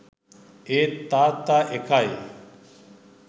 ඒත් තාත්ත එකයි